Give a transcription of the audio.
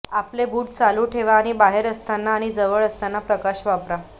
आपले बूट चालू ठेवा आणि बाहेर असताना आणि जवळ असताना प्रकाश वापरा